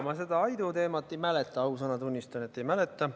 Ma seda Aidu teemat ei mäleta, ausõna, tunnistan, et ei mäleta.